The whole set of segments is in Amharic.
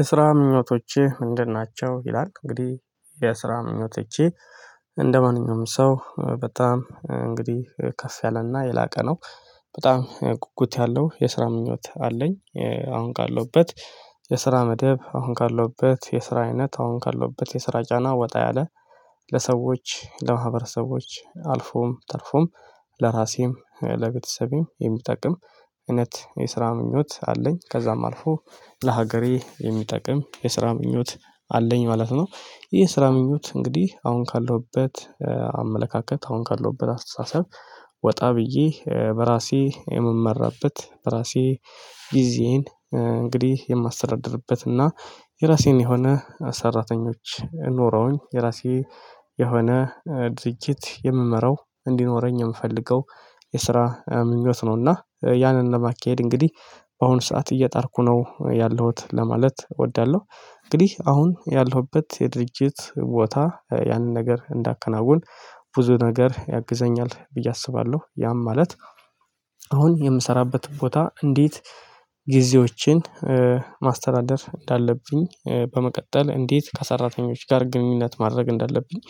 የስራ ምኞቶችህ ምንድን ናቸው ይላል እንግዲህ የስራ ምኞቶቼ እንደማንኛውም ሰው በጣም እንግዲህ ከፍ ያለና የላቀ ነው በጣም ጉጉት ያለው የስራ ምኞት አለኝ። አሁን ካለሁበት የስራ መደብ አሁን ካለሁበት የስራ አይነት አሁን ካለሁበት የስራ ጫና ወጣ ያለ ለሰዎች ለማህበረሰቦች አልፎም ተርፎም ለራሴም ለቤተሰቤም የሚጠቅም እውነት የስራ ምኞት አለኝ ከዛም አልፎ ለሀገሬ የሚጠቅም የስራ ምኞት አለኝ ማለት ነው። ይሄ ስራ ምኞት እንግዲህ አሁን ካለሁበት አመለካከት አሁን ካለሁበት አስተሳሰብ ወጣ ብዬ በራሴ የምመራበት በራሴ ጊዜዬን እንግዲህ የማስተዳድርበት እና የራሴን የሆነ ሰራተኞች ኖረውኝ የራሴ የሆነ ድርጅት የምመራው እንዲኖረኝ የምፈልገው የስራ ምኞት ነውና ያንን ለማካሄድ እንግዲህ በአሁኑ ሰዓት እየጣርኩ ነው ያለሁት ለማለት እወዳለሁ። እንግዲህ አሁን ያለሁበት የድርጅት ቦታ ያንን ነገር እንዳከናውን ብዙ ነገር ያግዘኛል ብዬ አስባለሁ። ያም ማለት አሁን የምሰራበትን ቦታ እንዴት ጊዜዎችን ማስተዳደር እንዳለብኝ በመቀጠል እንዴት ከሰራተኞች ጋር ግንኙነት ማድረግ እንዳለብኝ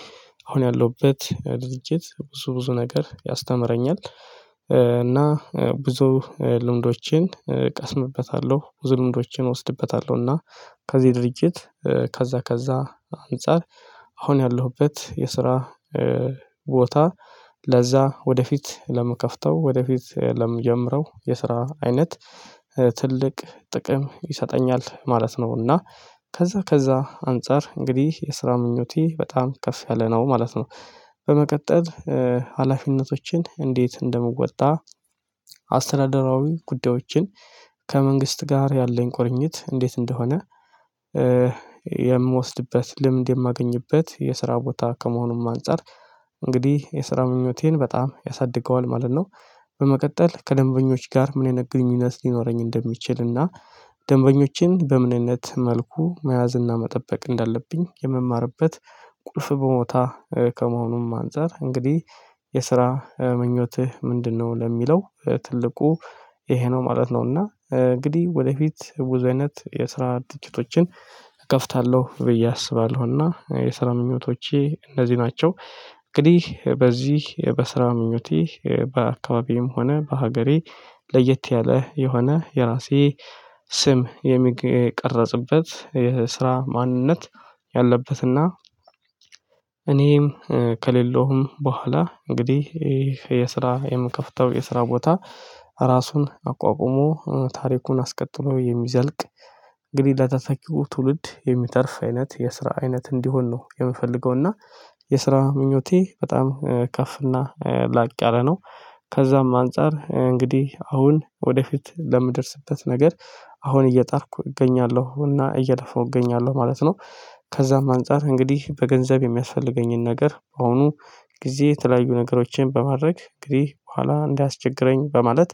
አሁን ያለሁበት ድርጅት ብዙ ብዙ ነገር ያስተምረኛል። እና ብዙ ልምዶቼን ቀስምበታለሁ ብዙ ልምዶቼን እወስድበታለሁ እና ከዚህ ድርጅት ከዛ ከዛ አንፃር አሁን ያለሁበት የስራ ቦታ ለዛ ወደፊት ለምከፍተው ወደፊት ለምጀምረው የስራ አይነት ትልቅ ጥቅም ይሰጠኛል ማለት ነው እና ከዛ ከዛ አንፃር እንግዲህ የስራ ምኞቴ በጣም ከፍ ያለ ነው ማለት ነው። በመቀጠል ሀላፊነቶችን እንዴት እንደምወጣ አስተዳደራዊ ጉዳዮችን ከመንግስት ጋር ያለኝ ቁርኝት እንዴት እንደሆነ የምወስድበት ልምድ የማገኝበት የስራ ቦታ ከመሆኑም አንፃር እንግዲህ የስራ ምኞቴን በጣም ያሳድገዋል ማለት ነው። በመቀጠል ከደንበኞች ጋር ምን አይነት ግንኙነት ሊኖረኝ እንደሚችል እና ደንበኞችን በምንነት መልኩ መያዝ እና መጠበቅ እንዳለብኝ የምማርበት ቁልፍ ቦታ ከመሆኑም አንፃር እንግዲህ የስራ ምኞትህ ምንድነው ለሚለው ትልቁ ይሄ ነው ማለት ነው እና እንግዲህ ወደፊት ብዙ አይነት የስራ ድርጅቶችን እከፍታለሁ ብዬ አስባለሁና የስራ ምኞቶቼ እነዚህ ናቸው። እንግዲህ በዚህ በስራ ምኞቴ በአካባቢዬም ሆነ በሀገሬ ለየት ያለ የሆነ የራሴ ስም የሚቀረጽበት የስራ ማንነት ያለበትና እኔም ከሌለውም በኋላ እንግዲህ ይሄ የስራ የምከፍተው የስራ ቦታ ራሱን አቋቁሞ ታሪኩን አስቀጥሎ የሚዘልቅ እንግዲህ ለተተኪው ትውልድ የሚተርፍ አይነት የስራ አይነት እንዲሆን ነው የምፈልገው እና የስራ ምኞቴ በጣም ከፍ እና ላቅ ያለ ነው። ከዛም አንፃር እንግዲህ አሁን ወደፊት ለምደርስበት ነገር አሁን እየጣርኩ እገኛለሁ እና እየለፋው እገኛለሁ ማለት ነው። ከዛም አንፃር እንግዲህ በገንዘብ የሚያስፈልገኝን ነገር ከአሁኑ ጊዜ የተለያዩ ነገሮችን በማድረግ እንግዲህ በኋላ እንዳያስቸግረኝ በማለት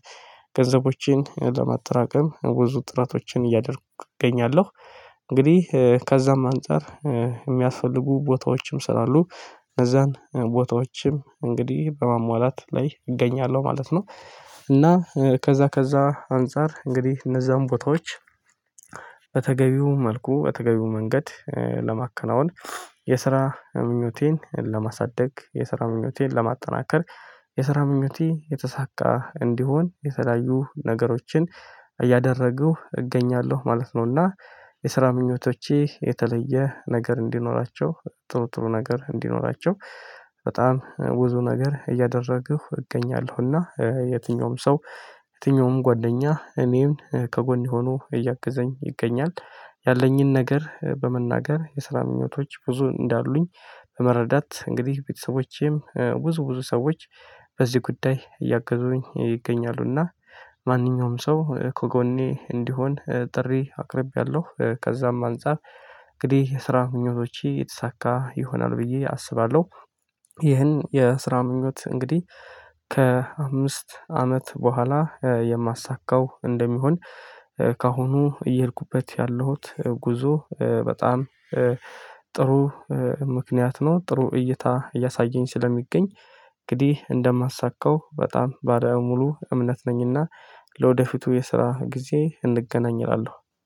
ገንዘቦቼን ለማጠራቀም ብዙ ጥረቶችን እያደረኩ እገኛለሁ። እንግዲህ ከዛም አንፃር የሚያስፈልጉ ቦታዎችም ስላሉ እነዛን ቦታዎችም እንግዲህ በማሟላት ላይ እገኛለሁ ማለት ነው። እና ከዛ ከዛ አንፃር እንግዲህ እነዛን ቦታዎች በተገቢው መልኩ በተገቢው መንገድ ለማከናወን የስራ ምኞቴን ለማሳደግ የስራ ምኞቴን ለማጠናከር የስራ ምኞቴ የተሳካ እንዲሆን የተለያዩ ነገሮችን እያደረጉ እገኛለሁ ማለት ነውና። የስራ ምኞቶቼ የተለየ ነገር እንዲኖራቸው ጥሩ ጥሩ ነገር እንዲኖራቸው በጣም ብዙ ነገር እያደረግሁ እገኛለሁና የትኛውም ሰው የትኛውም ጓደኛ እኔን ከጎኔ ሆኖ እያገዘኝ ይገኛል ያለኝን ነገር በመናገር የስራ ምኞቶች ብዙ እንዳሉኝ በመረዳት እንግዲህ ቤተሰቦቼም ብዙ ብዙ ሰዎች በዚህ ጉዳይ እያገዙኝ ይገኛሉና ማንኛውም ሰው ከጎኔ እንዲሆን ጥሪ አቅርቤያለሁ ከዛም አንፃር እንግዲህ የስራ ምኞቶቼ የተሳካ ይሆናል ብዬ አስባለሁ። ይህን የስራ ምኞት እንግዲህ ከአምስት አመት በኋላ የማሳካው እንደሚሆን ከአሁኑ እየሄድኩበት ያለሁት ጉዞ በጣም ጥሩ ምክንያት ነው ጥሩ እይታ እያሳየኝ ስለሚገኝ እንግዲህ እንደማሳካው በጣም ባለሙሉ እምነት ነኝና። ለወደፊቱ የስራ ጊዜ እንገናኝ እላለሁ